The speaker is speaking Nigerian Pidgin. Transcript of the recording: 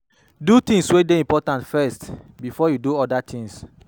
Do di things wey de important first before you do other things